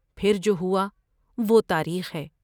پھر جو ہوا وہ تاریخ ہے!